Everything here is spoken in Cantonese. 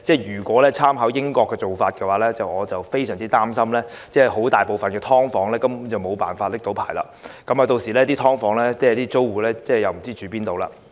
如果參考英國的做法，我非常擔心大部分"劏房"根本無法取得牌照，屆時"劏房"租戶也不知要到何處容身。